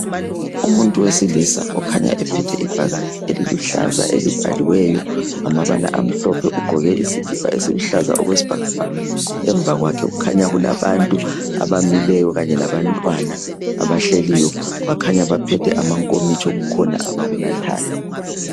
Umuntu wesilisa okhanya ephethe ibhakane eliluhlaza elibhaliweyo ngamabala amhlophe ugqoke isikipa esiluhlaza okwesibhakabhaka . Emva kwakhe kukhanya kulabantu abamileyo kanye labantwana abahleliyo. Bakhanya baphethe amankomitsho, kukhona abakunathayo.